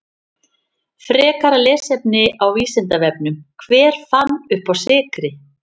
Frekara lesefni á Vísindavefnum: Hver fann uppá sykri?